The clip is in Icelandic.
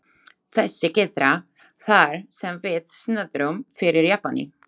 Þessi kytra, þar sem við snuðrum fyrir Japani.